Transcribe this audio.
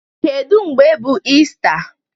Kedu mgbe bụ Ista?